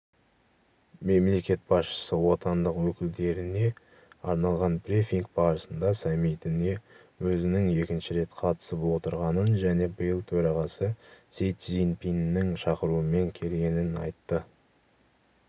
мемлекет басшысы отандық өкілдеріне арналған брифинг барысында саммитіне өзінің екінші рет қатысып отырғанын және биыл төрағасы си цзиньпиннің шақыруымен келгенін айтты